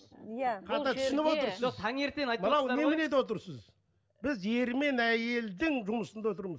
иә біз ері мен әйелдің жұмысында отырмыз